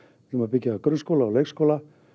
ætlum að byggja upp grunnskóla og leikskóla